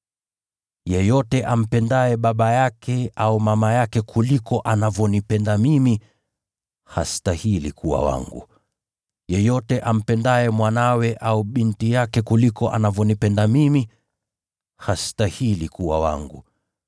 “Yeyote ampendaye baba yake au mama yake kuliko anavyonipenda mimi, hastahili kuwa wangu. Yeyote ampendaye mwanawe au binti yake kuliko anavyonipenda mimi, hastahili kuwa wangu.